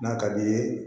N'a ka d'i ye